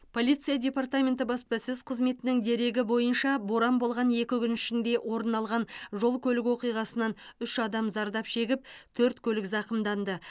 полиция департаменті баспасөз қызметінің дерегі бойынша боран болған екі күн ішінде орын алған жол көлік оқиғасынан үш адам зардап шегіп төрт көлік зақымданды